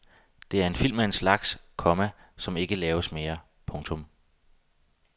Det er en film af en slags, komma som ikke laves mere. punktum